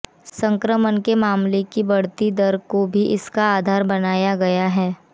संक्रमण के मामलों की बढ़ती दर को भी इसका आधार बनाया गया है